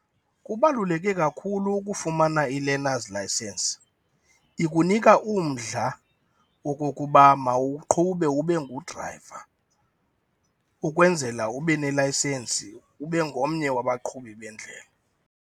Kubaluleke kakhulu ukufumana i-learner's licence. Ikunika umdla wokokuba mawuqhube ube ngudrayiva ukwenzela ube nelayisensi, ube ngomnye wabaqhubi bendlela.